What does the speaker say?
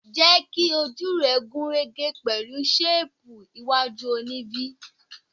Jẹ́ kí ojú rẹ gún régé pẹ̀lú ṣéìpù iwájú òní v.